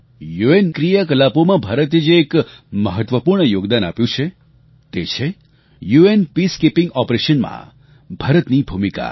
યુએનની ક્રિયાકલાપોમાં ભારતે જે એક મહત્વપૂર્ણ યોગદાન આપ્યું છે તે છે યુએન પીસકીપિંગ ઓપરેશન્સ માં ભારતની ભૂમિકા